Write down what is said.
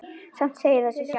Samt segir það sig sjálft.